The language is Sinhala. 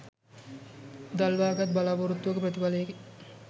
දල්වාගත් බලාපොරොත්තුවක ප්‍රතිඵලයකි